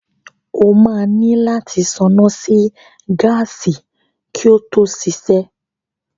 O máa nílò láti ṣáná sí gáàsì kí ó tó ṣiṣẹ́.